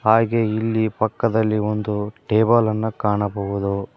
ಹಾಗೆ ಇಲ್ಲಿ ಪಕ್ಕದಲ್ಲಿ ಒಂದು ಟೇಬಲ್ ಅನ್ನ ಕಾಣಬಹುದು.